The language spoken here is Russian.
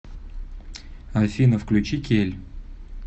афина включи кель